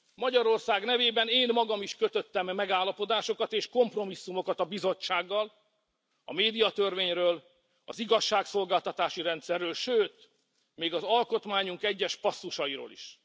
Magyarország nevében én magam is kötöttem megállapodásokat és kompromisszumokat a Bizottsággal a médiatörvényről, az igazságszolgáltatási rendszerről, sőt még az alkotmányunk egyes passzusairól is.